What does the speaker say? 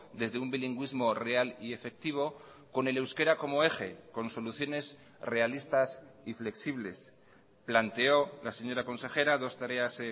desde un bilingüismo real y efectivo con el euskera como eje con soluciones realistas y flexibles planteó la señora consejera dos tareas